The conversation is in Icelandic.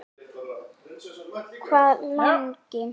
Hvað lengi.